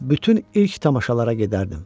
Bütün ilk tamaşalara gedərdim.